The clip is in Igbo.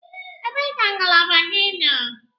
Ebee ka ngalaba gị nọ?